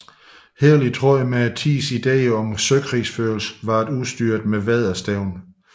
Helt i tråd med tidens ideer om søkrigsførelse var det udstyret med vædderstævn